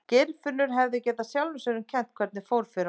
Geirfinnur hefði getað sjálfum sér um kennt hvernig fyrir honum fór.